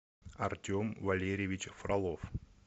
артем валерьевич фролов